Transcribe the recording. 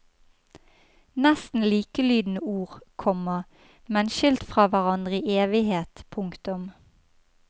Nesten likelydende ord, komma men skilt fra hverandre i evighet. punktum